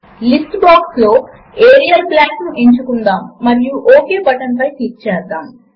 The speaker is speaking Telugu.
రెండవ రో లో మల్టిప్లికేషన్ ను సూచిస్తూ ఉన్న a ఇంటో b పైన ఇప్పుడు క్లిక్ చేద్దాము